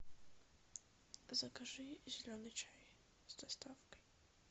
закажи зеленый чай с доставкой